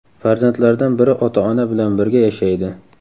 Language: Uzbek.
Farzandlardan biri ota-ona bilan birga yashaydi.